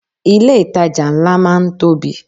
Ilé ìtajà ńlá máa ń tóbi.